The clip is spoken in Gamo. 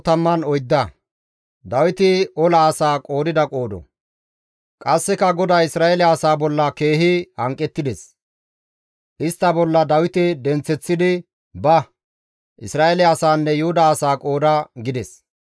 Qasseka GODAY Isra7eele asaa bolla keehi hanqettides; istta bolla Dawite denththeththidi, «Ba! Isra7eele asaanne Yuhuda asaa qooda!» gides.